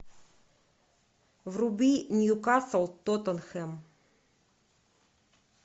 вруби ньюкасл тоттенхэм